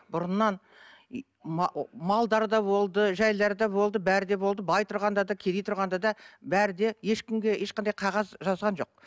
бұрыннан малдары да болды жайлары да болды бәрі де болды бай тұрғанда да кедей тұрғанда да бәрі де ешкімге ешқандай қағаз жазған жоқ